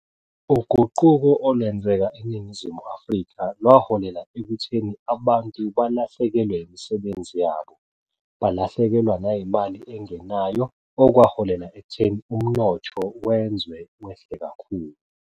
Uguquko olwenzeka eNingizimu Afrika lwaholela ekutheni abantu balahlekelwe imisebenzi yabo, balahlekelwa nayimali engenayo okwaholela ekutheni umnotho wenzwe wehle kakhulu.